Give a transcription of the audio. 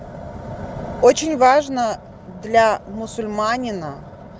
очень важно для мусульманина